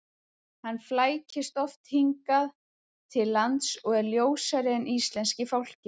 Hann flækist oft hingað til lands og er ljósari en íslenski fálkinn.